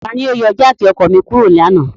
Tani o yọ jáákí ọkọ mi kuro lana?